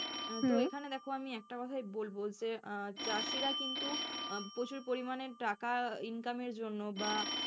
এখানে দেখো আমি একটা কোথাই বলবো যে আহ চাষীরা কিন্তু প্রচুর পরিমাণে টাকা income এর জন্য, বা,